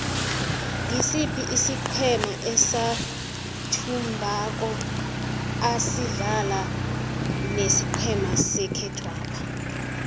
ngisiphi isiqhema esathumbako asidlala nesiqhema sekhethwapha